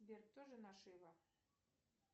сбер кто жена шива